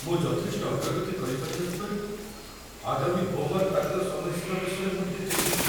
ମୁଁ ଯଥେଷ୍ଟ ଅଗ୍ରଗତି କରିପାରିନଥିବାରୁ ଆଗାମୀ ହୋମ୍‌ୱାର୍କ ଦାଖଲ ସମୟସୀମା ବିଷୟରେ ମୁଁ ଟିକେ ଚିନ୍ତିତ ।